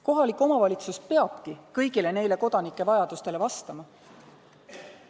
Kohalik omavalitsus peabki kõik need kodanike vajadused rahuldama.